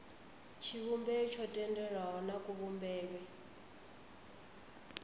tshivhumbeo tsho tendelwaho na kuvhumbelwe